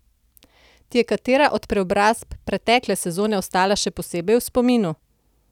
Ti je katera od preobrazb pretekle sezone ostala še posebej v spominu?